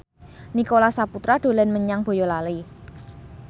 Nicholas Saputra dolan menyang Boyolali